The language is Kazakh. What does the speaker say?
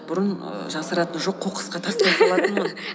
бұрын ііі жасыратын жоқ қоқысқа тастай салатынмын